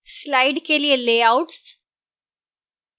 slide के लिए layouts